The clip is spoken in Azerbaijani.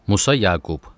Musa Yaqub.